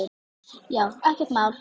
Já, ekkert mál!